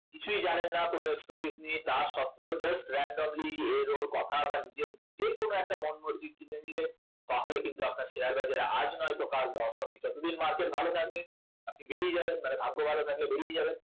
কিছুই জানেন না expertise নেই তা সত্ত্বেও আপনি just randomly এর ওর কথা বা নিজের যে কোন একটা মন মর্জি কিনে নিলেন তাহলে কিন্তু আপনার শেয়ার বাজার আজ নয়তো কাল loss হবেই যতদিন market ভালো থাকবে আপনি বেরিয়ে যাবেন মানে ভাগ্য ভালো থাকলে বেরিয়ে যাবেন